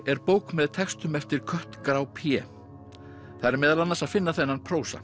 er bók með textum eftir kött grá Pjé þar er meðal annars að finna þennan prósa